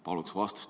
Paluksin vastust.